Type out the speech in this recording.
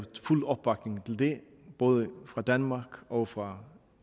fuld opbakning til det både fra danmark og fra